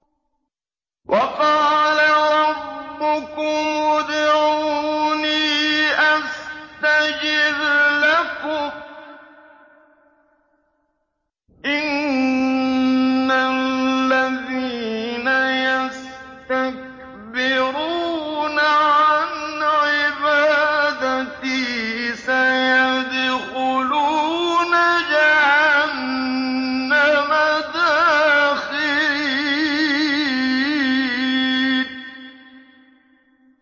وَقَالَ رَبُّكُمُ ادْعُونِي أَسْتَجِبْ لَكُمْ ۚ إِنَّ الَّذِينَ يَسْتَكْبِرُونَ عَنْ عِبَادَتِي سَيَدْخُلُونَ جَهَنَّمَ دَاخِرِينَ